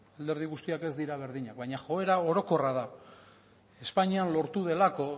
alderdi guztiak ez dira berdinak baina joera hau orokorra da espainian lortu delako